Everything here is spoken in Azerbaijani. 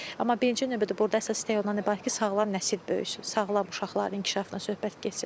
Amma birinci növbədə burda əsas ondan ibarətdir ki, sağlam nəsil böyüsün, sağlam uşaqların inkişafından söhbət getsin.